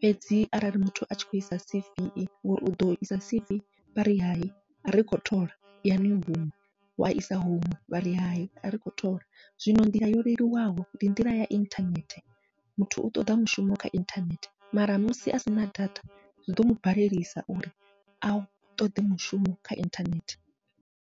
fhedzi arali muthu atshi khou isa C_V ngori uḓo isa C_V vhari hayi ari kho thola i yani huṅwe, wa isa huṅwe vha ri hayi ari kho thola. Zwino nḓila yo leluwaho ndi nḓila ya inthanethe muthu u ṱoḓa mushumo kha inthanethe, mara musi asina data zwiḓo mubalelisa uri a ṱoḓe mushumo kha inthanethe.